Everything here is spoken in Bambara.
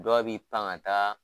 Dɔw bi pan ka taa